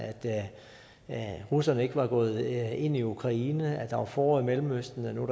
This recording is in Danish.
da russerne ikke var gået ind i ukraine der var også forår i mellemøsten og nu